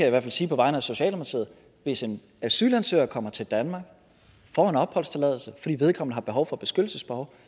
i hvert fald sige på vegne af socialdemokratiet hvis en asylansøger kommer til danmark og får en opholdstilladelse fordi vedkommende har behov for beskyttelse så